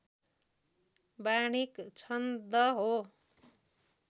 वार्णिक छन्द हो